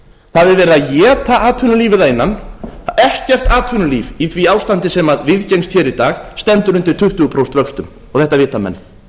það er verið að éta atvinnulífið að innan ekkert atvinnulíf í ári ástandi sem viðgengst hér í dag stendur undir tuttugu prósent vöxtum og þetta vita menn